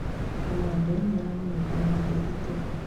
Kamande nĩaramũnegenera Ndiritu